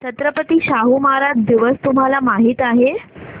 छत्रपती शाहू महाराज दिवस तुम्हाला माहित आहे